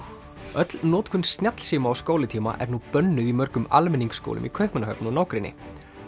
öll notkun snjallsíma á skólatíma er nú bönnuð í mörgum almenningsskólum í Kaupmannahöfn og nágrenni